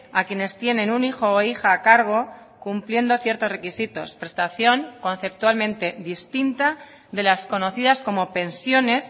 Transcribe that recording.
a quienes tienen un hijo o hija a cargo cumpliendo ciertos requisitos prestación conceptualmente distinta de las conocidas como pensiones